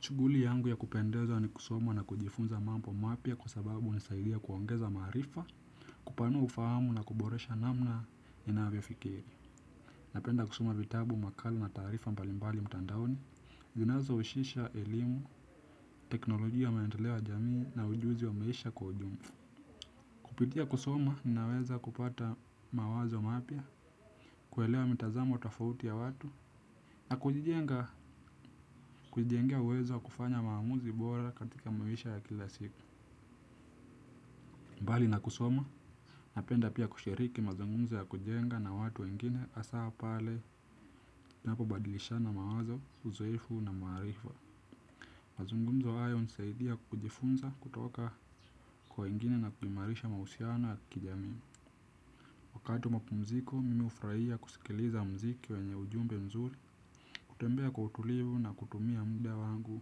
Shughuli yangu ya kupendezwa ni kusoma na kujifunza mambo mapya kwa sababu hunisaidia kuongeza maarifa, kupanua ufahamu na kuboresha namna ninavyofikiri. Napenda kusoma vitabu makala na taarifa mbalimbali mtandaoni, zinazo husisha elimu, teknolojia maendeleo ya jamii na ujuzi wa maisha kwa ujumla. Kupitia kusoma ninaweza kupata mawazo mapya, kuelewa mitazamo tofauti ya watu na kujijengalea uwezo wa kufanya maamuzi bora katika maisha ya kila siku. Mbali na kusoma napenda pia kushiriki mazungumzo ya kujenga na watu wengine hasaa pale napobadilishana mawazo uzoefu na maarifa. Mazungumzo hayo hunisaidia kujifunza kutoka kwa wengine na kuimarisha mahusiano ya kijami. Wakati wa mapumziko mimi hufurahia kusikiliza muziki wenye ujumbe mzuri. Kutembea kwa utulivu na kutumia muda wangu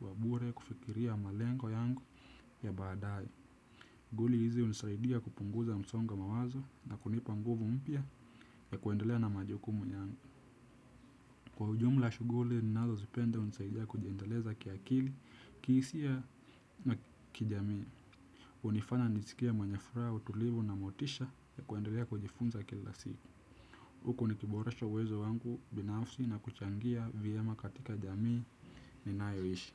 wabure kufikiria malengo yangu ya baadaye shughuli hizi hunisaidia kupunguza msongo wa mawazo na kunipa nguvu mpya ya kuendelea na majukumu yangu. Kwa ujumla shughuli, ninazozipenda hunisaidia kujiendeleza kiakili, kihisia na kijamii. Hunifanya nisikie mwenye furaha utulivu na motisha ya kuendelea kujifunza kila siku. Huku nikiboresha uwezo wangu binafsi na kuchangia vyema katika jamii ninayoishi.